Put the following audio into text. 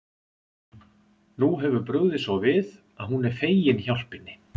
Nú hefur brugðið svo við að hún er fegin hjálpinni.